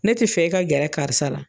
Ne tɛ fɛ e ka gɛrɛ karisa la.